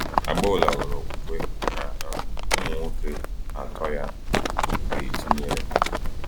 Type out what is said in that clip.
Agboola nwere okwukwe na um ụmụ nwoke atọ ya ga-etinyere.